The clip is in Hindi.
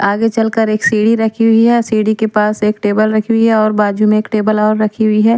आगे चलकर एक सीढ़ी रखी हुई है सीढ़ी के पास एक टेबल रखी हुई है और बाजू में एक टेबल और रखी हुई है ।